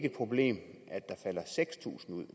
et problem at der falder seks tusind ud